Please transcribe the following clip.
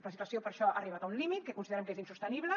la situació per això ha arribat a un límit que considerem que és insostenible